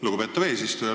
Lugupeetav eesistuja!